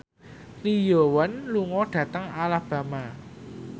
Lee Yo Won lunga dhateng Alabama